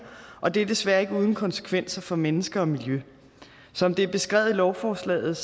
og det er desværre ikke uden konsekvenser for mennesker og miljø som det er beskrevet i lovforslaget